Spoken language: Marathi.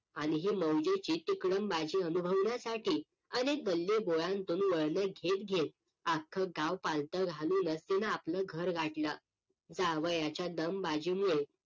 आणि ही लवंग्याचे तिकडून माझी अनुभवण्यासाठी अनेक गल्ली बोळातून वळणं घेत घेत अख्ख गाव पालत घालून तीन आपलं घर गाठलं. जावयाच्या दमबाजी मुळे